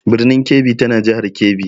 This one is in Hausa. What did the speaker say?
Birnin Kebbi tana jihar Kebbi.